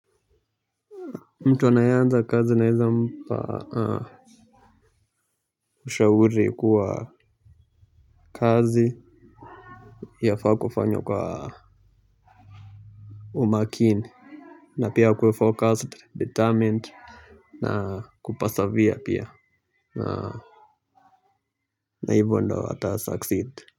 Mtu anaeanza kazi naeza mpa. Ushauri kuwa kazi yafaa kufanywa kwa umakini. Na pia kuwe forecast determined na kupasavya pia. Na hivo ndo wata succeed.